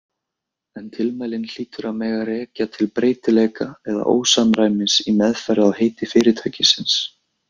En tilmælin hlýtur að mega rekja til breytileika eða ósamræmis í meðferð á heiti fyrirtækisins.